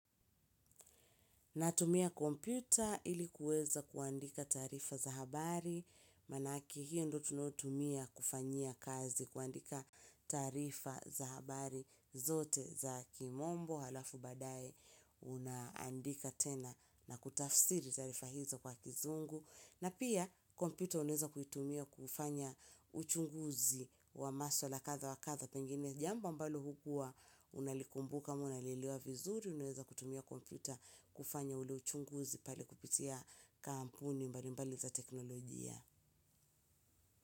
Natumia kompyuta ili kuweza kuandika taarifa za habari, manake hiyo ndiyo tunayo tumia kufanyia kazi kuandika taarifa za habari zote za kimombo, alafu baadae unaandika tena na kutafsiri taarifa hizo kwa kizungu. Na pia kompyuta unaweza kuitumia kufanya uchunguzi wa maswala kadha wa kadha pengine jambo ambalo hukuwa unalikumbuka ama unalielewa vizuri unaweza kutumia kompyuta kufanya ule uchunguzi pale kupitia kampuni mbali mbali za teknolojia.